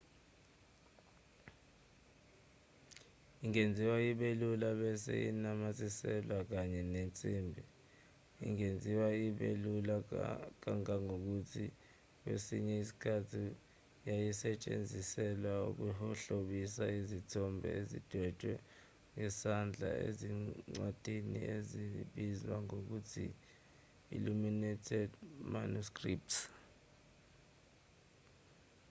ingenziwa ibe lula bese inamathiselwa kwenye insimbi ingenziwa ibe lula kangangokuthi kwesinye isikhathi yayisetshenziselwa ukuhlobisa izithombe ezidwetshwe ngesandla ezincwadini ezibizwa ngokuthi illuminated manuscripts